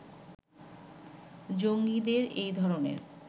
জঙ্গীদের এই ধরনের